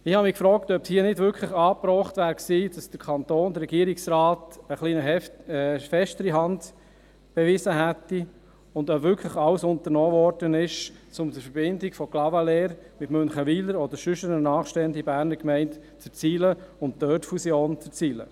Ich habe mich gefragt, ob es hier angebracht gewesen wäre, dass der Kanton, der Regierungsrat eine etwas festere Hand bewiesen hätte, und ob wirklich alles unternommen wurde, um die Verbindung von Clavaleyres mit Münchenwiler oder sonst einer nahestehenden Berner Gemeine zu erzielen und dort eine Fusion zu erzielen.